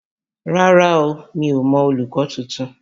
Rárá o, mi ò mọ olùkọ́ tuntun.